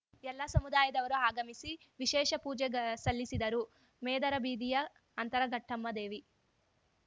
ಎಲ್ಲ ಸಮುದಾಯದವರು ಆಗಮಿಸಿ ವಿಶೇಷ ಪೂಜೆ ಗ ಸಲ್ಲಿಸಿದರು ಮೇದರಬೀದಿಯ ಅಂತರಘಟ್ಟಮ್ಮ ದೇವಿ